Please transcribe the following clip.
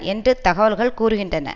என்று தகவல்கள் கூறுகின்றன